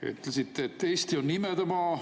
Ütlesite, et Eesti on imedemaa.